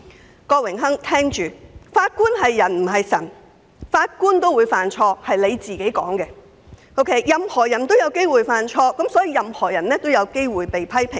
我請郭榮鏗議員聽着，法官是人不是神，按他所說也會犯錯，既然任何人也有機會犯錯，所有人都有機會遭到批評。